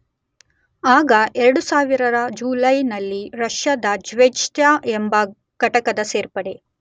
ಆಗ 2000 ರ ಜುಲೈನಲ್ಲಿ ರಷ್ಯಾದ ಜ್ವೆಜ್ದ ಎಂಬ ಘಟಕದ ಸೇರ್ಪಡೆ